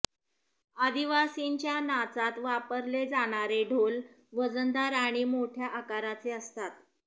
आदिवासींच्या नाचात वापरले जाणारे ढोल वजनदार आणि मोठ्या आकाराचे असतात